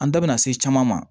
An da bina se caman ma